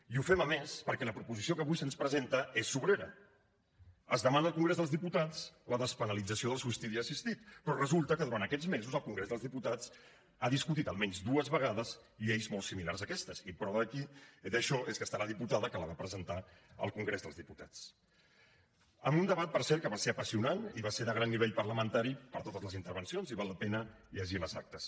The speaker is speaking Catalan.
i ho fem a més perquè la proposició que avui se’ns presenta és sobrera es demana al congrés dels diputats la despenalització del suïcidi assistit però resulta que durant aquests mesos el congrés dels diputats ha discutit almenys dues vegades lleis molt similars a aquestes i prova d’això és que hi ha la diputada que la va presentar al congrés dels diputats en un debat per cert que va ser apassionant i va ser de gran nivell parlamentari per totes les intervencions i val la pena llegir ne les actes